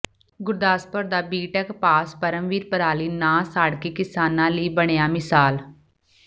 ਗੁਰਦਾਸਪੁਰ ਦਾ BTech pass Paramvir ਪਰਾਲੀ ਨਾ ਸਾੜਕੇ ਕਿਸਾਨਾਂ ਲਈ ਬਣਿਆ ਮਿਸਾਲ